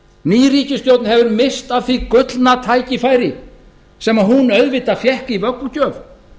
ný ríkisstjórn hefur misst af því gullna tækifæri sem hún auðvitað fékk í vöggugjöf